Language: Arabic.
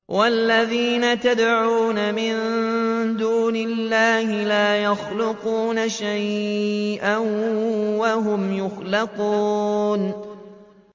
وَالَّذِينَ يَدْعُونَ مِن دُونِ اللَّهِ لَا يَخْلُقُونَ شَيْئًا وَهُمْ يُخْلَقُونَ